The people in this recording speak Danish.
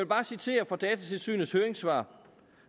bare citere fra datatilsynets høringssvar